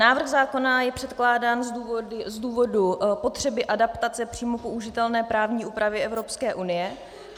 Návrh zákona je předkládán z důvodu potřeby adaptace přímo použitelné právní úpravy Evropské unie.